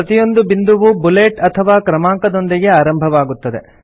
ಪ್ರತಿಯೊಂದು ಬಿಂದುವೂ ಬುಲೆಟ್ ಅಥವಾ ಕ್ರಮಾಂಕದೊಂದಿಗೆ ಆರಂಭವಾಗುತ್ತದೆ